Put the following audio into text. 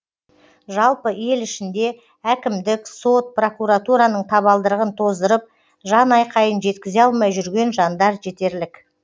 жалпы ел ішінде әкімдік сот прокуратураның табалдырығын тоздырып жанайқайын жеткізе алмай жүрген жандар жетерлік